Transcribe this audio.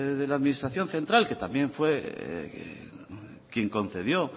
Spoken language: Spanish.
de la administración central que también fue quien concedió